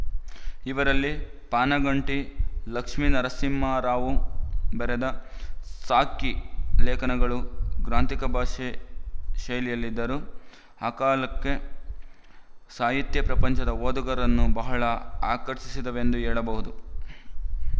ಇವರಲ್ಲಿ ಪಾನುಗಂಟಿ ಲಕ್ಷ್ಮೀನರಸಿಂಹಾರಾವು ಬರೆದ ಸಾಕ್ಶಿ ಲೇಖನಗಳು ಗ್ರಾಂಥಿಕ ಭಾಷಾ ಶೈಲಿಯಲ್ಲಿದ್ದರೂ ಆ ಕಾಲಕ್ಕೆ ಸಾಹಿತ್ಯಪ್ರಪಂಚದ ಓದುಗರನ್ನು ಬಹಳ ಆಕರ್ಶಿಸಿದವೆಂದು ಹೇಳಬಹುದು